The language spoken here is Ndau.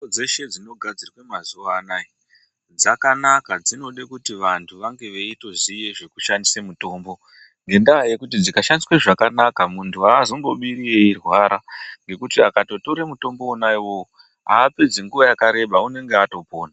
Mitombo dzeshe dzinogadzirwe mazuwa anaya dzakanaka dzinode kuti vantu vange veitoziye zvekushandisa mitombo ngendaa yekuti dzikashandiswa zvakanaka muntu azombobiri eirwara ngekuti akatotore mutombo wona iwowo apedzi nguwa yakareba unenge atopona.